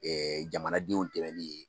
Ɛɛ jamanadenw dɛmɛnni ye